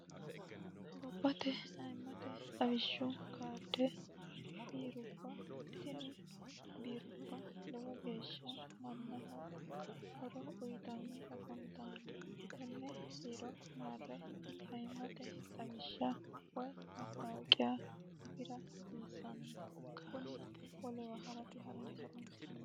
gobate ayimmote xawishshu karde biirubba tini biirubba lowo geeshsha mannaho horo uyitanni afantanno tenne biiro maarre aimmate xawishsha woy mattawiqiya afira hisiissanno kuni wolewa ha'rate horonsi'naayiiho